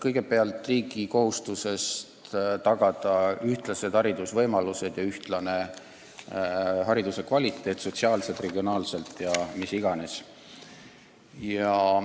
Kõigepealt, riigil on kohustus tagada ühtlased haridusvõimalused ja ühtlane hariduse kvaliteet sotsiaalselt, regionaalselt jne.